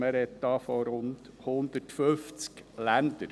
Diesbezüglich spricht man von rund 150 Ländern.